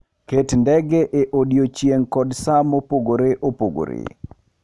Ket ndege e odiechieng' kod sa mopogore opogore.